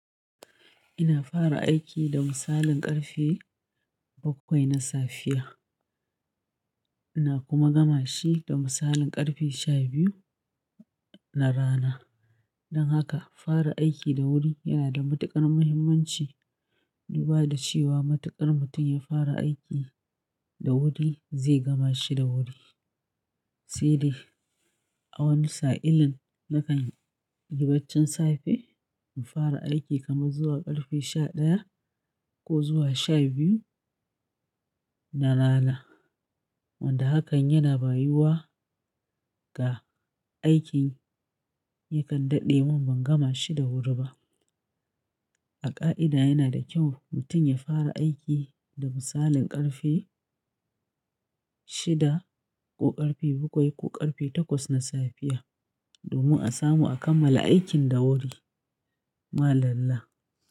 Ina fara aiki da misalin ƙarfe bakwai na safiya, ina kuma gama shi da misalin ƙarfe sha biyu na rana. Don haka fara aiki da wuri yana da matuƙar muhimmanci, duba da cewa matuƙar mutum ya fara aiki da wuri zai gama shi da wuri. Sai dai a wani sa'illin nakany yi baccin safe in fara aiki kamar zuwa ƙarfe sha ɗaya ko zuwa sha biyu na rana. Wanda hakan yana bayiwa ga aikin yakan daɗe mun ban gama shi da wuri ba. A ƙa'ida yana da kyau mutum ya fara aiki da misalin ƙarfe shida ko ƙarfe bakwai ko ƙarfe takwas na safiya domin a samu a kammala aikin da wuri. Malallah.